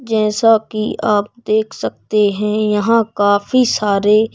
जैसा कि आप देख सकते हैं यहां काफी सारे--